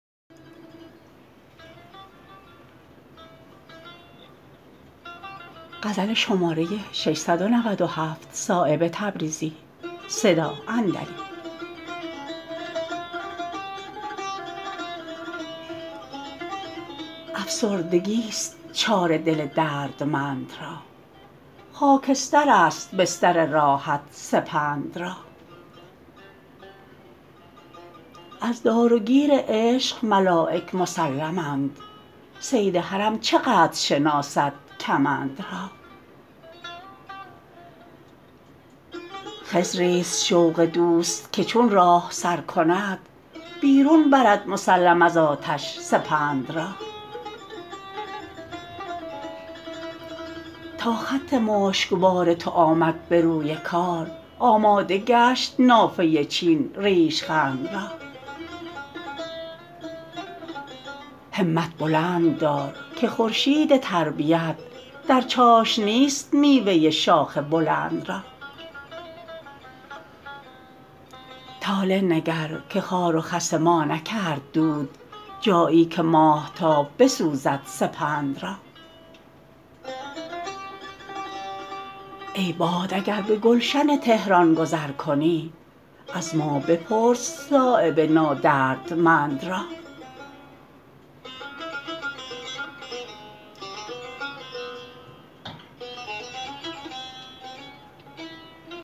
افسردگی است چاره دل دردمند را خاکسترست بستر راحت سپند را از دار و گیر عشق ملایک مسلمند صید حرم چه قدر شناسد کمند را خضری است شوق دوست که چون راه سر کند بیرون برد مسلم از آتش سپند را تا خط مشکبار تو آمد به روی کار آماده گشت نافه چین ریشخند را همت بلند دار که خورشید تربیت در چاشنی است میوه شاخ بلند را طالع نگر که خار و خس ما نکرد دود جایی که ماهتاب بسوزد سپند را ای باد اگر به گلشن طهران گذر کنی از ما بپرس صایب نادردمند را